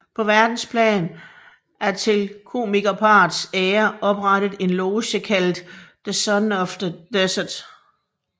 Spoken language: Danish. På verdensplan er til komikerparrets ære oprettet en loge kaldet The Sons of the Desert